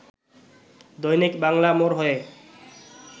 দৈনিক বাংলা মোড় হয়ে